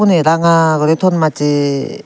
eh ranga guri ton mache.